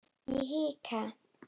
Ég hika.